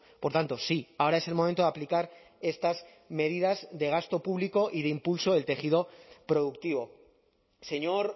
por tanto sí ahora es el momento de aplicar estas medidas de gasto público y de impulso del tejido productivo señor